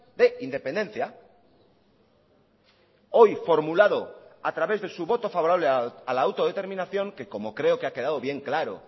de independencia hoy formulado a través de su voto favorable a la autodeterminación que como creo que ha quedado bien claro